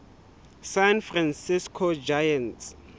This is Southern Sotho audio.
san francisco giants